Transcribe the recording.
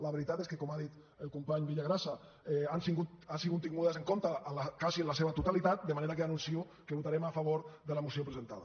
la veritat és que com ha dit el company villagrasa han sigut tingudes en compte quasi en la seva totalitat de manera que anuncio que votarem a favor de la moció presentada